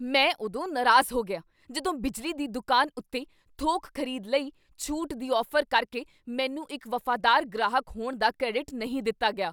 ਮੈਂ ਉਦੋਂ ਨਾਰਾਜ਼ ਹੋ ਗਿਆ ਜਦੋਂ ਬਿਜਲੀ ਦੀ ਦੁਕਾਨ ਉੱਕੇ ਥੋਕ ਖ਼ਰੀਦ ਲਈ ਛੂਟ ਦੀ ਔਫ਼ਰ ਕਰਕੇ ਮੈਨੂੰ ਇੱਕ ਵਫ਼ਾਦਾਰ ਗ੍ਰਾਹਕ ਹੋਣ ਦਾ ਕ੍ਰੈਡਿਟ ਨਹੀਂ ਦਿੱਤਾ ਗਿਆ।